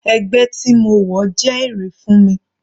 Ẹgbẹ́ tí mo wọ̀ jẹ́ èrè fún mi.